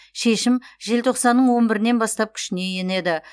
шешім желтоқсанның он бірінен бастап күшіне енеді